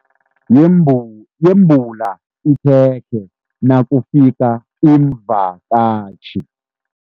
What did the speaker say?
Yembula ikhekhe nakufika iimvakatjhi.